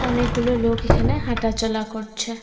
অনেক গুলো লোক এখানে হাঁটা চলা করছে।